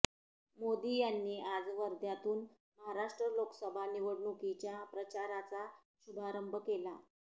मोदी यांनी आज वर्ध्यातून महाराष्ट्र लोकसभा निवडणुकीच्या प्रचाराचा शुभारंभ केला